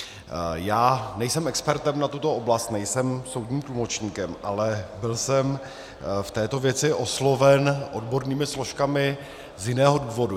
Já nejsem expertem na tuto oblast, nejsem soudním tlumočníkem, ale byl jsem v této věci osloven odbornými složkami z jiného důvodu.